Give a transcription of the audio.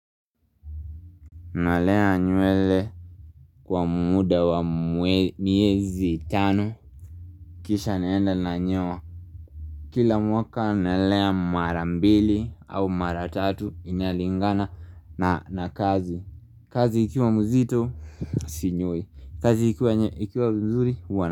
Nalea nywele kwa muda wa miezi tano Kisha naenda nanyoa Kila mwaka nalea mara mbili au mara tatu inalingana na kazi kazi ikiwa mzito, sinyoi kazi ikiwa mzuri, huwa na.